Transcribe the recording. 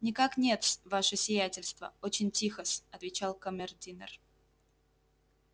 никак нет-с ваше сиятельство очень тихо-с отвечал камердинер